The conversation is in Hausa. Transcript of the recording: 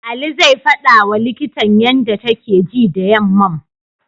Ali zai faɗawa likitan yanda take ji da yammam.